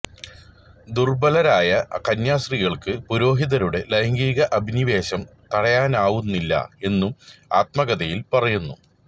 ദുർബലരായ കന്യാസ്ത്രീകൾക്ക് പുരോഹിതരുടെ ലൈംഗിക അഭിനിവേശം തടയാനാവുന്നില്ല എന്നും ആത്മകഥയിൽ പറയുന്നു